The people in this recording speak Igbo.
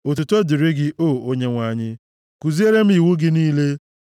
Otuto dịrị gị, o Onyenwe anyị; kuziere m iwu gị niile.